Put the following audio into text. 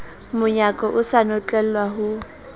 monyako o sa notlelwa ho